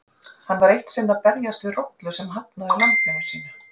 Hann var eitt sinn að berjast við rollu sem hafnaði lambinu sínu.